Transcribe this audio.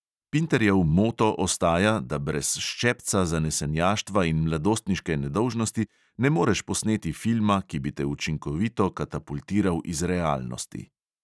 Pinterjev moto ostaja, da brez ščepca zanesenjaštva in mladostniške nedolžnosti ne moreš posneti filma, ki bi te učinkovito katapultiral iz realnosti.